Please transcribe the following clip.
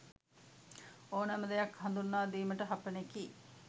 ඕනෑම දෙයක් හඳුන්වා දීමට හපනෙකි.